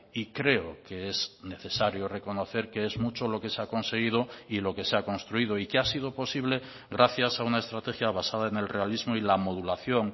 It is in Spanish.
y creo que es necesario reconocer que es mucho lo que se ha conseguido y lo que se ha construido y que ha sido posible gracias a una estrategia basada en el realismo y la modulación